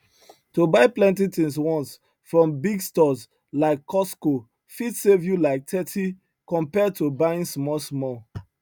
to buy plenty things once from big stores like costco fit save you like thirty compared to buying smallsmall